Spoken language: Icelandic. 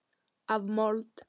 Af mold.